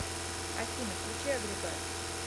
афина включи агрегат